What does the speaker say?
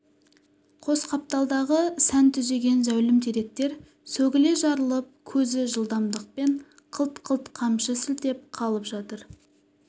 қос қапталдағы сән түзеген зәулім теректер сөгіле жарылып көзі жылдамдықпен қылт-қылт қамшы сілтеп қалып жатыр